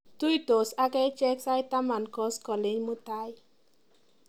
Tuisot akache sait taman koskoliny mutai.